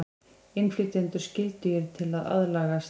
Innflytjendur skyldugir til að aðlagast